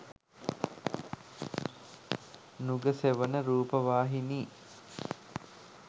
nugasewana rupavahini